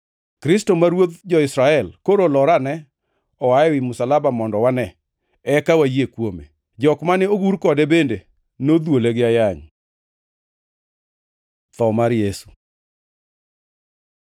Kristo ma Ruodh jo-Israel koro olor ane oa ewi msalaba mondo wane, eka wayie kuome.” Jok mane ogur kode bende nodhuole gi ayany. Tho mar Yesu